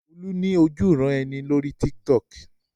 Olú ní ojúuran-ẹni lórí Tiktok.